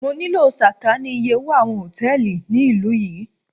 Mo nílò sàkání iye owó àwọn Hòtẹ́lìì ní ìlú yí.